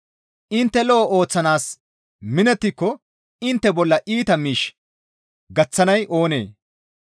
Intte lo7o ooththanaas minettiko intte bolla iita miish gaththanay oonee?